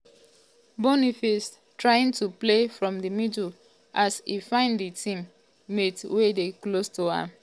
boniface trying to play from di middle as um e find di team um mate wey dey close to am.